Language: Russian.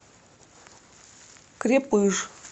крепыж